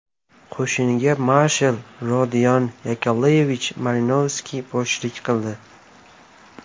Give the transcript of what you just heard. Qo‘shinga marshal Rodion Yakovlevich Malinovskiy boshchilik qildi.